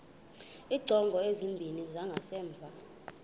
iingcango ezimbini zangasemva